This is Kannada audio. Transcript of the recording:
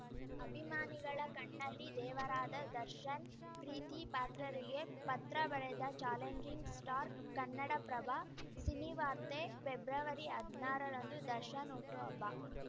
ಅಭಿಮಾನಿಗಳ ಕಣ್ಣಲ್ಲಿ ದೇವರಾದ ದರ್ಶನ್‌ ಪ್ರೀತಿ ಪಾತ್ರರಿಗೆ ಪತ್ರ ಬರೆದ ಚಾಲೆಂಜಿಂಗ್‌ ಸ್ಟಾರ್‌ ಕನ್ನಡಪ್ರಭ ಸಿನಿವಾರ್ತೆ ಫೆಬ್ರವರಿಹದ್ನಾರರಂದು ದರ್ಶನ್‌ ಹುಟ್ಟುಹಬ್ಬ